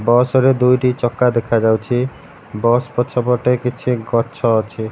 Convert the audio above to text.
Bus ର ଦୁଇଟି ଚକା ଦେଖାଯାଉଛି ବସ୍ ପଛପଟେ କିଛି ଗଛ ଅଛି।